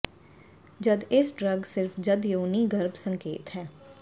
ਜਦ ਇਸ ਡਰੱਗ ਸਿਰਫ ਜਦ ਯੋਨੀ ਗਰਭ ਸੰਕੇਤ ਹੈ